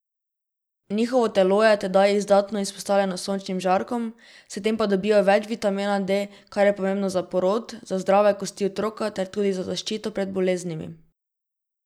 Njihovo telo je tedaj izdatno izpostavljeno sončnim žarkom, s tem pa dobijo več vitamina D, kar je pomembno za porod, za zdrave kosti otroka ter tudi za zaščito pred boleznimi.